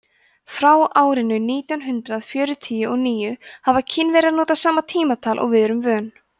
frá árinu nítján hundrað fjörutíu og níu hafa kínverjar notað sama tímatal og við erum vön